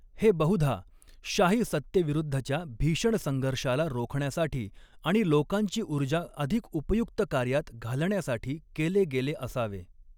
हे बहुधा शाही सत्तेविरुद्धच्या भीषण संघर्षाला रोखण्यासाठी आणि लोकांची ऊर्जा अधिक उपयुक्त कार्यात घालण्यासाठी केले गेले असावे.